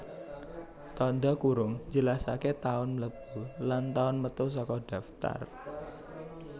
Tandha kurung njelasaké taun mlebu lan taun metu saka daftar